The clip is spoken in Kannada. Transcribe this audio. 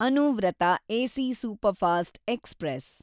Anuvrat AC superfast express